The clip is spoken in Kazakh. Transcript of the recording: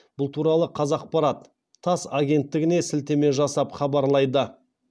бұл туралы қазақпарат тасс агенттігіне сілтеме жасап хабарлайды